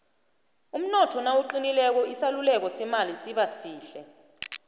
umnotho nawuqinileko isaluleko semali siba sihle